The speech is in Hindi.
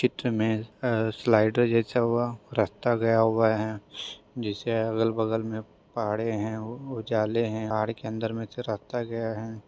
चित्र में अ स्लाइडर जैसा हुआ। रास्ता गया हुआ है। जिससे अगल बगल में पहाड़े है। और जाले है। पहाड़ के अंदर में ---